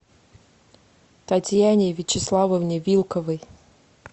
татьяне вячеславовне вилковой